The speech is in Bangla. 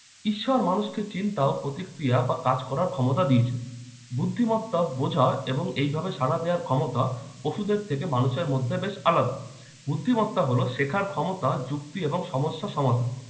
ঈশ্বর মানুষকে চিন্তা ও প্রতিক্রিয়া বা কাজ করার ক্ষমতা দিয়েছে। বুদ্ধিমতা বোঝা এবং এইভাবে সাড়া দেওয়ার ক্ষমতা পশুদের থেকে মানুষের মধ্যে বেশ আলাদা। বুদ্ধিমত্তা হলো শেখার ক্ষমতা, যুক্তি এবং সমস্যা সমাধান